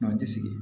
ti sigi